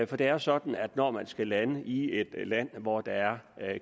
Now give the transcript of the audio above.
for det er jo sådan at når man skal lande i et land hvor der er